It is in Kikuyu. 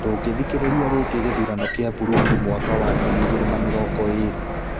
Ndũngĩthikĩrĩria rĩngĩ gĩthurano kĩa Burundi mwaka wa ngiri igĩrĩ na mĩrongo ĩrĩ.